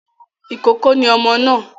Ìkókó ni ọmọ náà